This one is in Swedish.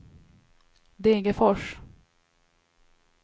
Degerfors